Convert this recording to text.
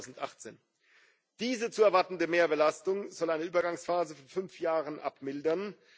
2018. Diese zu erwartende Mehrbelastung soll eine Übergangsphase von fünf Jahren abmildern.